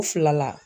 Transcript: U fila la